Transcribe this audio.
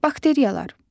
Bakteriyalar.